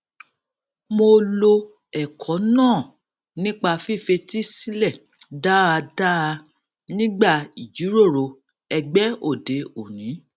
mo lo ẹkọ náà nípa fífetí sílè dáadáa nígbà ìjíròrò ẹgbé òde òní